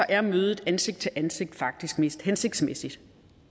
er mødet ansigt til ansigt faktisk mest hensigtsmæssigt